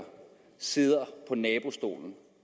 sige at